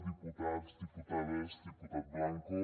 diputats diputades diputat blanco